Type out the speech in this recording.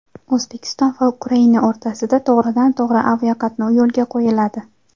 O‘zbekiston va Ukraina o‘rtasida to‘g‘ridan-to‘g‘ri aviaqatnov yo‘lga qo‘yiladi.